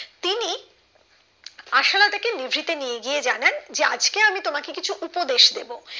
তাকে মেঝে তে নিয়ে গিয়ে জানান যে আজকে আমি তোমাকে কিছু উপদেশ দেব